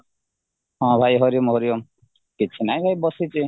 ହଁ ଭାଇ ହରିଓମ ହରିଓମ କିଛି ନାହିଁ ଭାଇ ବସିଛି